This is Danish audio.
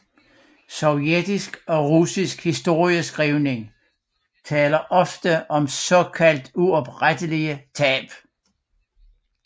Sovjetisk og russisk historieskrivning taler ofte om såkaldt uoprettelige tab